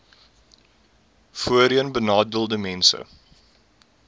voorheenbenadeeldesmense